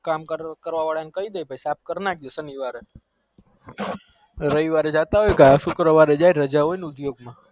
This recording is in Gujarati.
કામ કરવા વાર ને કૈદેજો સનિવારે કઈ દેજો સાફ